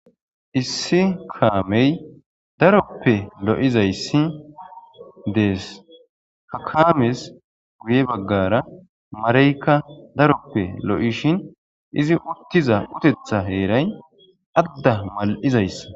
Issi kaamey daroppe lo'izayssi dees hakames guye baggara marayka daroppe lo'ishin izi uttiza utetha heeray adda mal'izayssa.